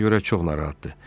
Sizə görə çox narahatdır.